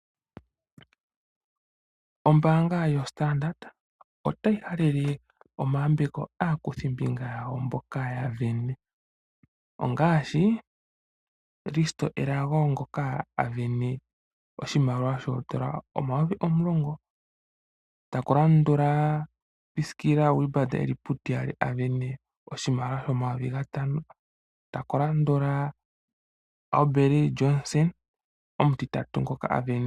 Ombaanga yoStandard otayi halele omayambeko aakuthimbinga yawo mboka yavene, ongaashi Risto Elago ngoka avene oshimaliwa shoondola $10000 taku landula Priskila Wilbard eli puutiyali avene oshiwaliwa shoondola $5000,taku landula Aubrey Jansen omutitatu ngoka avene.